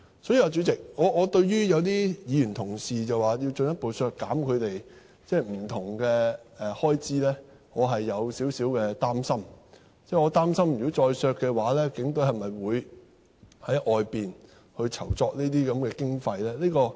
所以，主席，我對於有議員表示要進一步削減他們不同的開支，我是有少許擔心，我擔心如果再削減，警隊會否在外間籌措經費呢？